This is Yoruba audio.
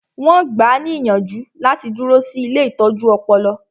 Wọn gbáà ní ìyànjú láti dúró sí ilée ìtọ́jú ọpọlọ